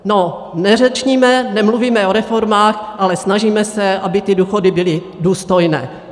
No, neřečníme, nemluvíme o reformách, ale snažíme se, aby ty důchody byly důstojné.